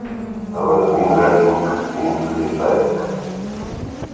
Það verður mín refsing, mín friðþæging.